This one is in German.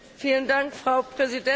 Frau Präsidentin!